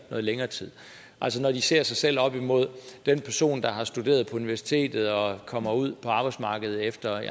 længere tid altså når de ser sig selv op imod den person der har studeret på universitetet og kommer ud på arbejdsmarkedet